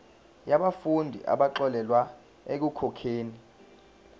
yabafundi abaxolelwa ekukhokheni